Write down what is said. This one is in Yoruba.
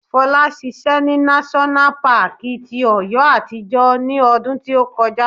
Fola ṣiṣẹ́ ní náṣọ́nà paàkì ti Ọ̀yọ́ àtijọ́ ní ọdún tí ó kọjá